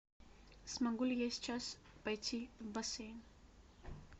смогу ли я сейчас пойти в бассейн